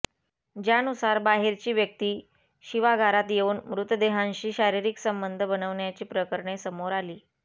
ज्यानुसार बाहेरची व्यक्ती शवागारात येऊन मृतदेहांशी शारीरिक संबंध बनवण्याची प्रकरणे समोर आली